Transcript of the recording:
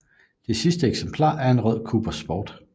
Det sidste eksemplar er en rød Cooper Sport